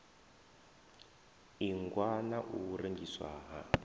ingwa na u rengiswa ha